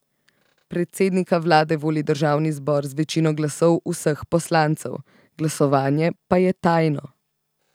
Predsednika vlade voli državni zbor z večino glasov vseh poslancev, glasovanje pa je tajno.